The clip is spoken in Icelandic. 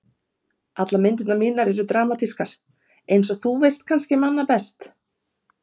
Allar myndirnar mínar eru dramatískar einsog þú veist kannski manna best.